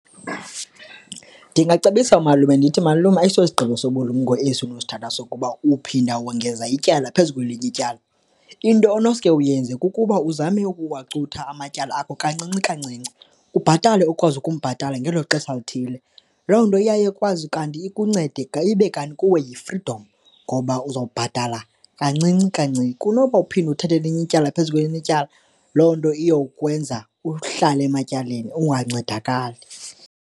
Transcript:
Ndingacebisa umalume ndithi malume ayisosigqibo sobulumko esi ufuna usithatha sokuba uphinda wongeza ityala phezu kwelinye ityala. Into onoske uyenze kukuba uzame ukuwacutha amatyala akho kancinci, kancinci, ubhatale okwazi ukumbhatala ngelo xesha lithile. Loo nto iyaye ikwazi kanti ikuncede ibe kanti kuwe yifridom ngoba uzowubhatala kancinci, kancinci kunoba uphinde uthetha elinye ityala phezu kwelinye ityala, loo nto iyokwenza uhlale ematyaleni ungancedakali.